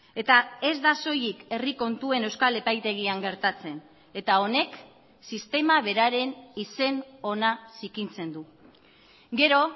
eta ez da soilik herri kontuen euskal epaitegian gertatzen eta honek sistema beraren izen ona zikintzen du gero